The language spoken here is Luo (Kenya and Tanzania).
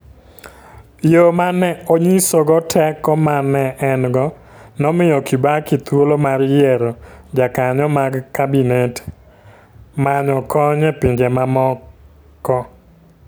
Yo ma ne onyisogo teko ma ne en go, nomiyo Kibaki thuolo mar yiero jokanyo mag kabinete, manyo kony e pinje mamoko.